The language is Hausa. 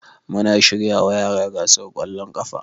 Muna shiryawa yara gasar kwallon kafa